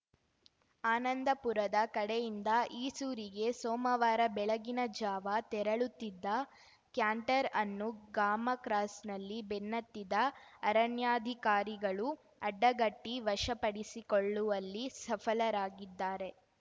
ಆನಂದಪುರದ ಕಡೆಯಿಂದ ಈಸೂರಿಗೆ ಸೋಮವಾರ ಬೆಳಗಿನ ಜಾವ ತೆರಳುತ್ತಿದ್ದ ಕ್ಯಾಂಟರ್ ಅನ್ನು ಗಾಮ ಕ್ರಾಸ್‌ನಲ್ಲಿ ಬೆನ್ನತ್ತಿದ ಅರಣ್ಯಾಧಿಕಾರಿಗಳು ಅಡ್ಡಗಟ್ಟಿವಶಪಡಿಸಿಕೊಳ್ಳುವಲ್ಲಿ ಸಫಲರಾಗಿದ್ದಾರೆ